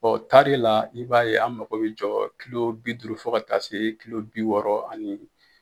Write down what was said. taari la i b'a ye an mago bɛ jɔ bi duuru fɔ ka taa se bi wɔɔrɔ ani